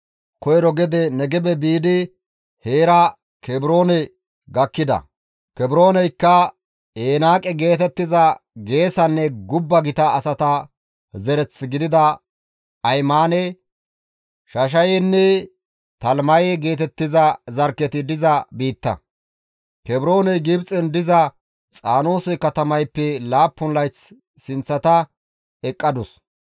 Koyro gede Negebe biidi heera Kebroone gakkida; Kebrooneykka, «Enaaqe» geetettiza geesanne gubba gita asata zereth gidida Ahimaane, Shashayenne Talimaye geetettiza zarkketi diza biitta. [Kebrooney Gibxen diza Xaanoose katamayppe laappun layth sinththata eqqadus.]